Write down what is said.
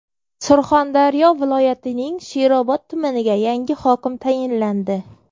Surxondaryo viloyatining Sherobod tumaniga yangi hokim tayinlandi.